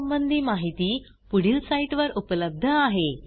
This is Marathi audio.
यासंबंधी माहिती पुढील साईटवर उपलब्ध आहे